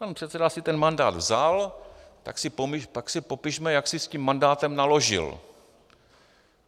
Pan předseda si ten mandát vzal, tak si popišme, jak si s tím mandátem naložil.